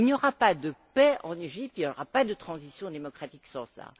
Il n'y aura pas de paix en Égypte, il n'y aura pas de transition démocratique sans cela.